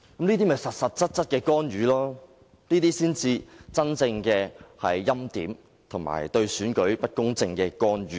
這就是實實在在的干預，這才是真正的欽點，以及令選舉不公正的干預。